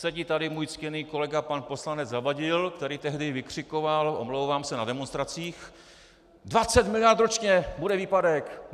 Sedí tady můj ctěný kolega pan poslanec Zavadil, který tehdy vykřikoval, omlouvám se, na demonstracích: 20 miliard ročně bude výpadek!